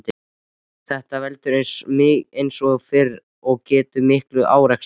Þetta veldur, eins og fyrr er getið, miklum árekstrum.